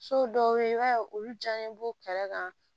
So dɔw be ye i b'a ye olu jaɲɛ b'u kɛrɛ kan